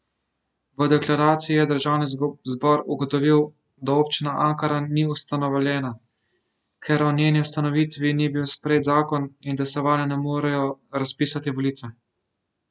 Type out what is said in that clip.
V deklaraciji je državni zbor ugotovil, da občina Ankaran ni ustanovljena, ker o njeni ustanovitvi ni bil sprejet zakon, in da se vanjo ne morejo razpisati volitve.